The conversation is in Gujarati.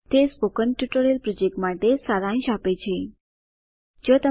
httpspoken tutorialorgWhat is a spoken tutorial તે સ્પોકન ટ્યુટોરીયલ પ્રોજેક્ટ માટે સારાંશ આપે છે